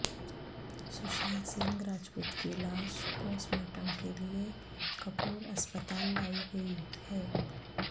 سوشانت سنگھ راجپوت کی لاش post mortem کیلئے کپور اسپتال لائی گئی ہے